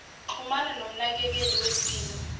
xhumana nomnakekeli wempilo